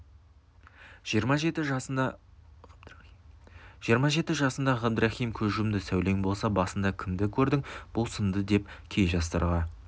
жиырма жеті жасында ғабдрахым көз жұмды сәулең болса басыңда кімді көрдің бұл сынды деп кей жастарға